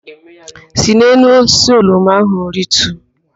Si n'elu osisi oroma ahụ rituo!